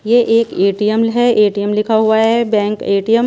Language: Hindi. ये एक ए_टी_एम है ए_टी_एम लिखा हुआ है बैंक ए_टी_एम --